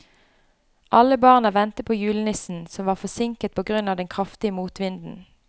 Alle barna ventet på julenissen, som var forsinket på grunn av den kraftige motvinden.